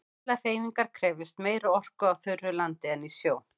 Allar hreyfingar krefjast meiri orku á þurru landi en í sjó.